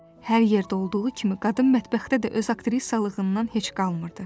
Hər yerdə olduğu kimi qadın mətbəxdə də öz aktrisalığından heç qalmırdı.